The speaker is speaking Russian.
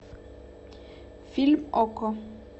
фильм окко